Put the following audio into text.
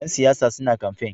Ƴan siyasa suna kamfen.